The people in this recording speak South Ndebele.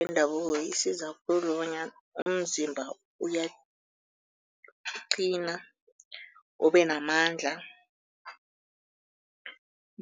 Wendabuko isiza khulu bonyana umzimba uyaqina, ubenamandla